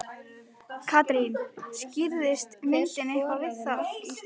Katrín, skýrðist myndin eitthvað við það?